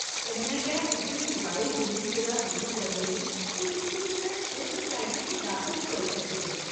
कन्नै गै उस्सी मोबाइल गेमिंग कोला दूर करने लेई तुस उस्सी कुसै स्पोर्ट्स अकैडमी च दाखल करोआई सकदे ओ।